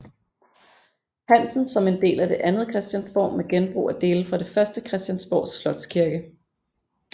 Hansen som en del af det andet Christiansborg med genbrug af dele fra det første Christiansborgs slotskirke